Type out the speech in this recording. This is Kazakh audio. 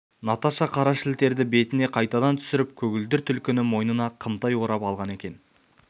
наташа қара шілтерді бетіне қайтадан түсіріп көгілдір түлкіні мойнына қымтай орап алған екен